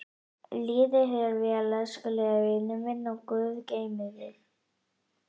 Líði þér vel, elskulegi vinurinn minn og guð geymi þig.